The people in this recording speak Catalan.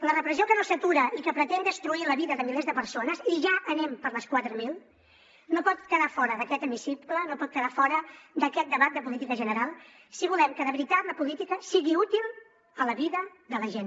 la repressió que no s’atura i que pretén destruir la vida de milers de persones i ja anem per les quatre mil no pot quedar fora d’aquest hemicicle no pot quedar fora d’aquest debat de política general si volem que de veritat la política sigui útil a la vida de la gent